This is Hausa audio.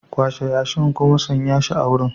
Kwashe yashin kuma sanya shi a wurin.